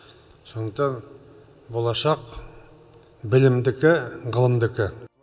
сондықтан болашақ білімдікі ғылымдікі